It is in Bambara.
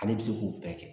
Ale bɛ se k'o bɛɛ kɛ